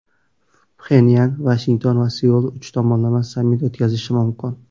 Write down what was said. Pxenyan, Vashington va Seul uch tomonlama sammit o‘tkazishi mumkin.